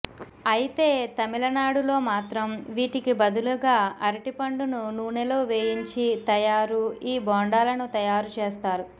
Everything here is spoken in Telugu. అయితే తమిళనాడులో మాత్రం వీటికి బదులుగా అరటి పండును నూనెలో వేయించి తయారు ఈ బొండాలను తయారు చేస్తారు